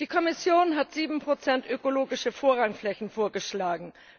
Die Kommission hat 7 ökologische Vorrangflächen vorgeschlagen.